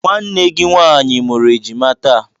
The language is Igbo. Nwanne gị nwaanyị mụrụ ejima taa.